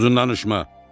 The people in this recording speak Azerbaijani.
uzun danışma.